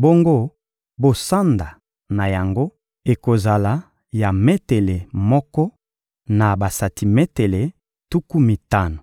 bongo bosanda na yango ekozala ya metele moko na basantimetele tuku mitano.